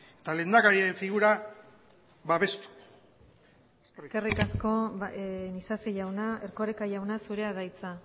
eta lehendakariaren figura babestu eskerrik asko isasi jauna erkoreka jauna zurea da hitza